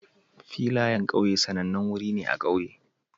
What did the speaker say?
Filayen ƙauye sanannen wuri ne a ƙauye